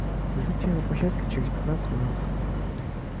жду тебя на площадке через пятнадцать минут